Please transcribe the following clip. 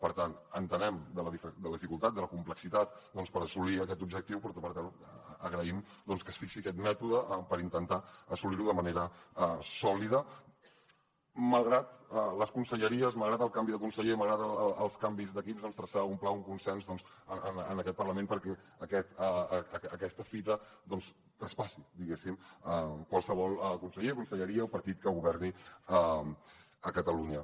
per tant entenem la dificultat la complexitat per assolir aquest objectiu però per tant agraïm doncs que es fixi aquest mètode per intentar assolir lo de manera sò lida malgrat les conselleries malgrat el canvi de conseller malgrat els canvis d’equips doncs traçar un pla un consens en aquest parlament perquè aquesta fita traspassi diguéssim qualsevol conseller conselleria o partit que governi a catalunya